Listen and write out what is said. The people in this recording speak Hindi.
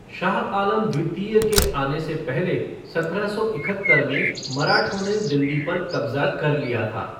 शाह आलम द्वितीय के आने से पहले सत्रह सौ इकहत्तर में मराठों ने दिल्ली पर कब्जा कर लिया था।